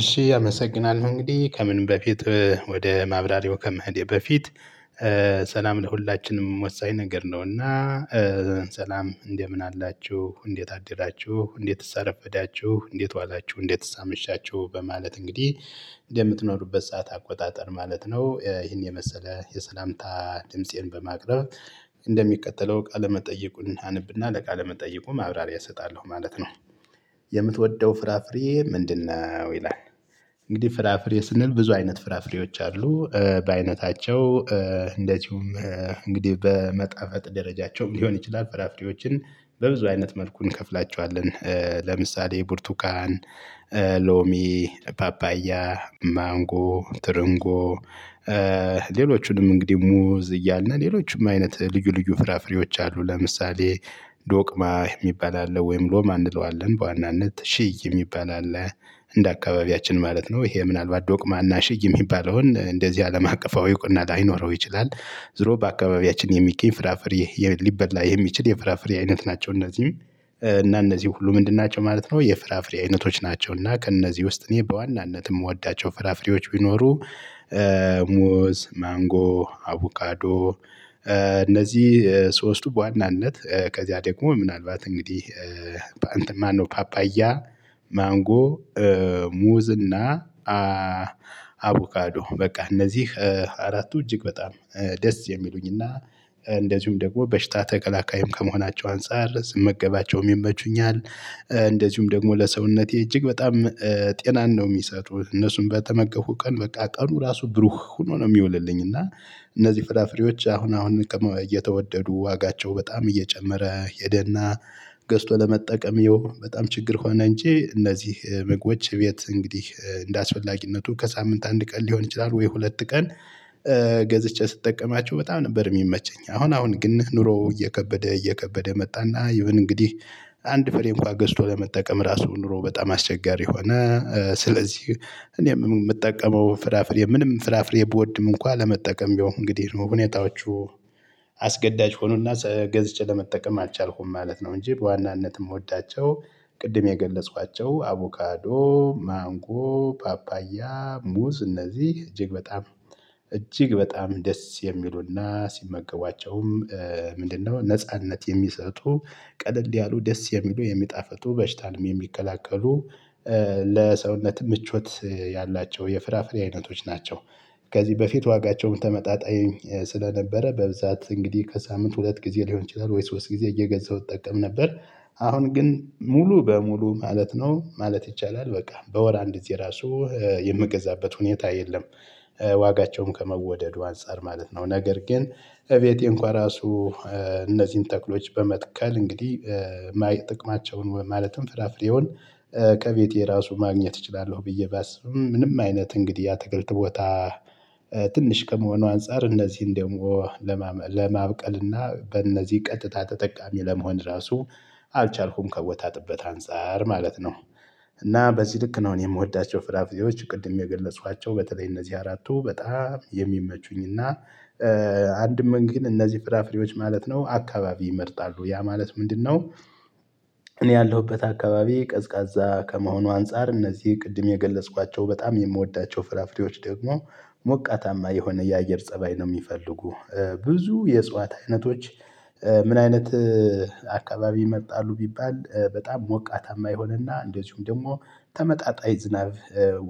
እሺ አመሰግናልሁ እንግዲህ ከምን በፊት ወደ ማብራሪያው ከመህዴ በፊት ሰላም ለሁላችንም ወሳኝ ነገር ነውና። ሰላም እንደምን አላችሁ እንዴት አደራችሁ እንዴትስ አረፈዳችሁ እንዴት ዋላችሁ እንዴትስ አመቻችሁ በማለት እንግዲህ እንደምትኖሩበት ሰዓት አቆጣጠር ማለት ነው ይሄን የመሰለ የሰላምታ ድምፄን በማቅረብ እንደሚቀጥለው ቃለመጠየቁን አነብና ለቃለ መጠየቁ ማብራሪያ እሰጣለሁ ማለት ነው። የምትወደው ፍራፍሬ ምንድነው? ይላል እንግዲህ ፍራፍሬ ስንል ብዙ አይነት ፍራፍሬዎች አሉ በአይነታቸው እንደዚሁም እንግዲህ በመጣፈጥ ደረጃቸውም ሊሆን ይችላል። ፍራፍሬዎችን በብዙ አይነት መልኩን እንከፍላቸዋለን። ለምሳሌ ብርቱቃን ሎሚ ፓፓያ ማንጎ ትርንጎ ሌሎቹንም እንግዲህ ሙዝ እያልን ሌሎችም አይነት ልዩ ልዩ ፍራፍሬዎች አሉ። ለምሳሌ ዶቅማ የሚባል አለ ወይም ሎማ እንለዋለን በዋናነት ሽይ የሚባል አለ እንደ አካባቢያችን ማለት ነው ይሄ ምናልባት ዶቅማና ሽይ የሚባለውን እንደዚህ አለም አቀፋዊ እውቅና ላይኖረው ይችላል። ዝሮ በአካባቢያችን የሚገኝ ፍራፍሬ ሊበላ የሚችል የፍራፍሬ አይነት ናቸው። እነዚህም እና እነዚህ ሁሉ ምንድን ናቸው ማለት ነው የፍራፍሬ አይነቶች ናቸው። እና ከእነዚህ ውስጥ እኔ በዋናነትም የምወዳቸው ፍራፍሬዎች ቢኖሩ። ሙዝ ማንጎ አውቃዶ እነዚህ ሶስቱ በዋናነት ከዚያ ደግሞ ምናልባት እንግዲህ በአንተ ማነው ፓፓያ ማንጎ ሙዝ እና አቮካዶ በቃ እነዚህ አራቱ እጅግ በጣም ደስ የሚሉኝ እና እንደዚሁም ደግሞ በሽታ ተክላካይም ከመሆናቸው አንፃር ስመገባቸውም ይመቹኛል። እንደዚሁም ደግሞ ለሰውነቴ እጅግ በጣም ጤናን ነው የሚሰጡት እነሱን በተመገፉ ቀን በቃ ቀኑ ራሱ ብሩህ ሆኖ ነው የሚውልልኝ። እና እነዚህ ፍላፍሬዎች አሁን አሁን እየተወደዱ ዋጋቸው በጣም እየጨመረ ሄደና ገዝቶ ለመጠቀም ይኸው በጣም ችግር ሆነ። እንጂ እነዚህ ምግቦች ቤት እንግዲህ እንደአስፈላጊነቱ ከሳምንት አንድ ቀን ሊሆን ይችላል ወይ ሁለት ቀን። ገዝቼ ስጠቀማቸው በጣም ነበር የሚመቸኝ አሁን አሁን ግን ኑሮው እየከበደ እየከበደ መጣና እንግዲህ አንድ ፍሬ እንኳን ገዝቶ ለመጠቀም ራሱ ኑሮ በጣም አስቸጋሪ ሆነ። ስለዚህ እኔ የምጠቀመው ፍራፍሬ ምንም ፍራፍሬ ብወድም እንኳን ለመጠቀም ቢሆን እንግዲህ ነው ሁኔታዎቹ አስገዳጅ ሆኖና ገዝጬ ለመጠቀም አልቻልኩም ማለት ነው። እንጂ በዋናነትም ወዳቸው ቅድም የገለጽኋቸው አቮካዶ ማንጎ ፓፓያ ሙዝ እነዚህ እጅግ በጣም እጅግ በጣም ደስ የሚሉና ሲመገቧቸውም ምንድነው ነጻነት የሚሰጡ ቀለል ያሉ ደስ የሚሉ የሚጣፍጡ በሽታንም የሚከላከሉ ለሰውነት ምቾት ያላቸው የፍራፍሬ አይነቶች ናቸው። ከዚህ በፊት ዋጋቸውም ተመጣጣኝ ስለነበረ በብዛት እንግዲህ ከሳምንት ሁለት ጊዜ ሊሆን ይችላል ወይ ሶስት ጊዜ እየገዛሁ እጠቀም ነበር። አሁን ግን ሙሉ በሙሉ ማለት ነው ማለት ይቻላል በቃ በወር አንድ ራሱ የምገዛበት ሁኔታ የለም። ዋጋቸውም ከመወደዱ አንፃር ማለት ነው ነገር ግን እቤቴ እንኳን ራሱ እነዚህን ተክሎች በመትከል እንግዲህ ማየት ጥቅማቸውን ማለትም ፍራፍሬውን ከቤቴ ራሱ ማግኘት እችላለሁ። ብዬ ባስብም ምንም አይነት እንግዲህ ያትክልት ቦታ ትንሽ ከመሆኑ አንፃር እነዚህን ደግሞ ለማብቀልና በእነዚህ ቀጥታ ተጠቃሚ ለመሆን ራሱ አልቻልኩም ከቦታጥበት አንፃር ማለት ነው። እና በዚህ ልክ ነው የምወዳቸው ፍራፍሬዎች ቅድም የገለጿቸው በተለይ እነዚህ አራቱ በጣም የሚመቹኝ እና አንድም መንገድ እነዚህ ፍራፍሬዎች ማለት ነው። አካባቢ ይመርጣሉ ያ ማለት ምንድነው? እኔ ያለሁበት አካባቢ ቀዝቃዛ ከመሆኑ አንፃር እነዚህ ቅድም የገለጽኳቸው በጣም የምወዳቸው ፍራፍሬዎች ደግሞ ሞቃታማ የሆነ የአየር ፀባይ ነው የሚፈልጉ። ብዙ የእጽዋት አይነቶች ምን አይነት አካባቢ ይመጣሉ ቢባል በጣም ሞቃታማ የሆነና እንደዚሁም ደግሞ ተመጣጣኝ ዝናብ